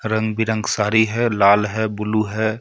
रंग बी रंग साड़ी है लाल है ब्लू है.